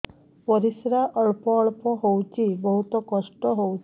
ପରିଶ୍ରା ଅଳ୍ପ ଅଳ୍ପ ହଉଚି ବହୁତ କଷ୍ଟ ହଉଚି